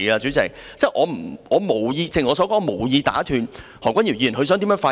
正如我所說，我無意打斷何君堯議員的發言。